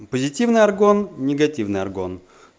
позитивный аргон негативный аргон